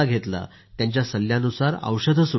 त्यांच्या सल्ल्यानुसार औषधे सुरु केली